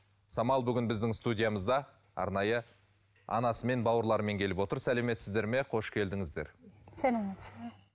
самал бүгін біздің студиямызда арнайы анасымен бауырларымен келіп отыр сәлеметсіздер ме қош келдіңіздер сәлеметсіз бе